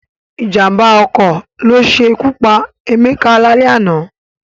Ìjàm̀bá ọkọ̀ ló ṣe ikú pa Emeka lálẹ́ àná